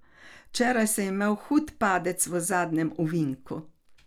Včeraj sem imel hud padec v zadnjem ovinku.